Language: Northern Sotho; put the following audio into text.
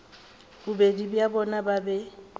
bobedi bja bona ba be